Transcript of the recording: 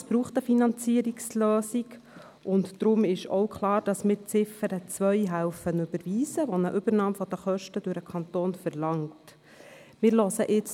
Es braucht eine Finanzierungslösung, weshalb auch klar ist, dass wir bei der Ziffer 2, die eine Übernahme der Kosten durch den Kanton verlangt, eine Überweisung unterstützen.